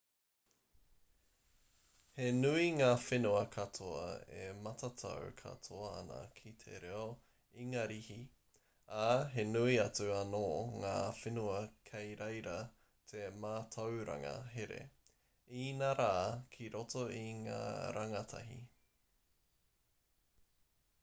he nui ngā whenua katoa e matatau katoa ana ki te reo ingarihi ā he nui atu anō ngā whenua kei reira te mātauranga here inarā ki roto i ngā rangatahi